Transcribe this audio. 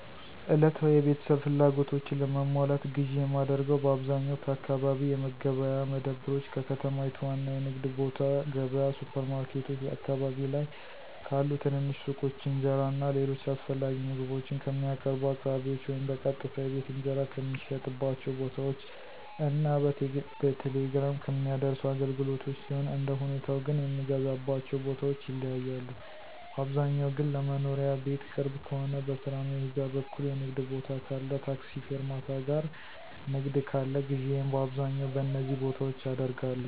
ዕለታዊ የቤተሰብ ፍላጎቶችን ለማሟላት ግዥ የማደርገው በአብዛኛው ከአካባቢ የመገበያያ መደብሮች፣ ከከተማይቱ ዋና የንግድ ቦታ ገብያ፣ ሱፐር ማርኬቶች፣ አካባቢ ላይ ካሉ ትንንሽ ሱቆች፣ እንጀራ እና ሌሎች አስፈላጊ ምግቦችን ከሚያቀርቡ አቅራቢዎች ወይም በቀጥታ የቤት እንጀራ ከሚሸጥባቸው ቦታዎች እና በቴሌግራም ከሚያደርሱ አገልግሎቶች ሲሆን አንደሁኔታው ግን የምገዛባቸው ቦታዎች ይለያያሉ, ባብዛኛው ግን ለመኖሪያ ቤት ቅርብ ከሆነ, በስራ መሄጃ በኩል የንግድ ቦታ ካለ ,ታክሲ ፌርማታ ጋር ንግድ ካለ ግዢየን በአብዛኛው በነዚ ቦታዎች አደርጋለሁ።